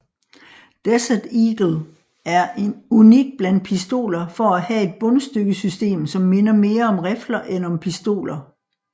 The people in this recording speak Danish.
Desert Eagle er unik blandt pistoler for at have et bundstykkesystem som minder mere om rifler end om pistoler